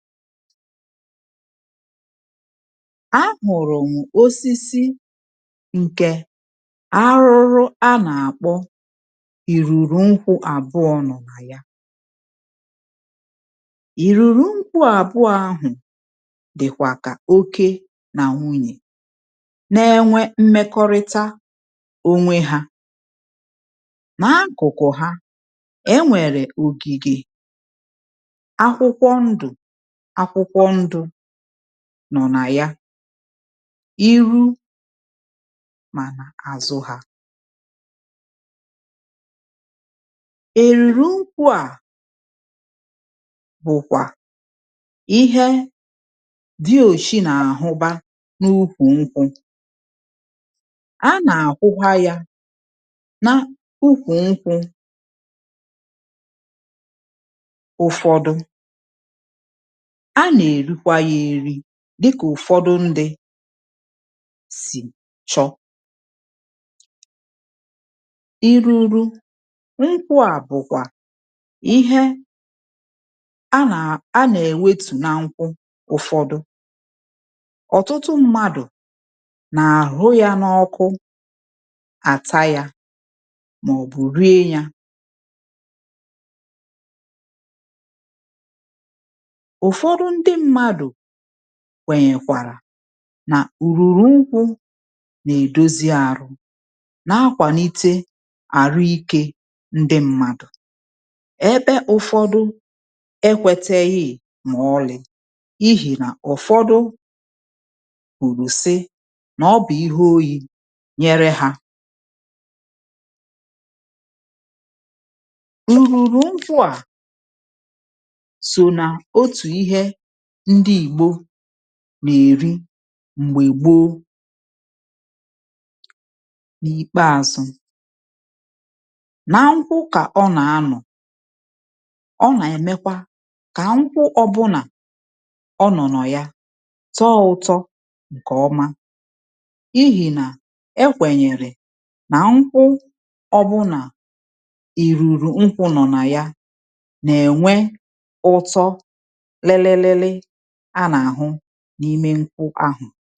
A hụ̀rụ̀ m ọsisi nke arụrụ a na-akpọ ìrụrụ nkwụ abụọ nọ̀ na ya. Ìrụrụ nkwụ abụọ ahụ̀ dị̀kwa ka ọke na nwụnye na-ėnwe mmekọrịta ọnwe ha. Na akụ̀kụ̀ ha enwere ọ̀gìge akwụkwọ ndụ, akwụkwọ ndụ nọ̀ na ya, ì rụ ma na azụ ha. Ìrụrụ nkwụ a bụ̀kwa ihe dị ọ̀chi na ahụba n’ụkwụ nkwụ. A na ahụwa ya na ụkwụ nkwụ ụ̀fọdụ. A na erikwa ya eri dịka ụ̀fọdụ ndị̇ sì chọ. Ìrụrụ nkwụ a bụkwa ihe a na, a na ewetu na nkwụ ụfọdụ. Ọtụtụ mmadụ na ahụ ya na ọkụ ata ya maọbụ rie ya Ụfọdụ ndị mmadụ kwenyekwara na ụrụrụ nkwụ na-edọzi arụ, na-akwalite arụ ike ndi mmadụ̀ ebe ụfọdụ ekweteghi ma ọlị̀, ihì na ụ̀fọdụ kwụrụ sị na ọbụ ihe ọyi nyere ha Ìrụrụ nkwụ a sọ na ọtụ ihe ndị igbọ na-eri mgbe gbọọ. N’ìkpeazụ̇, na nkwụ ka ọ na anọ̀. Ọ na-emekwa ka nkwụ ọbụla ọ nọ̀nọ̀ ya tọọ ụtọ nke ọma. Ihì na e kwenyere na nkwụ ọbụla ìrụrụ nkwụ̇ nọ̀ na ya na-enwe ụtọ lili lili a na ahụ n’ime nkwụ ahụ̀